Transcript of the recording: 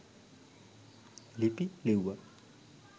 ලිපි ලිව්වා.